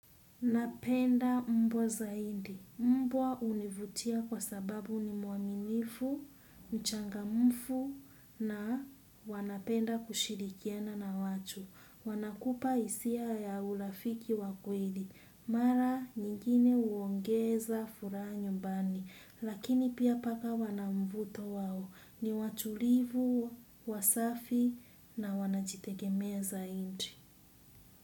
Napenda mbwa zaidi. Mbwa hunivutia kwa sababu ni mwaminifu, mchangamfu na wanapenda kushirikiana na watu. Wanakupa hisia ya urafiki wa kweli. Mara nyingine huongeza furaha nyumbani. Lakini pia paka wana mvuto wao. Ni watulivu, wasafi na wanajitegeme zaidi.